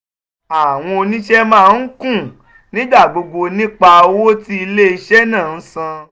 àwọn oníṣe máa ń ń kùn nígbà gbogbo nípa owó tí ilé-iṣẹ́ náà ń san.